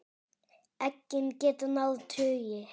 Eggin geta náð tugi.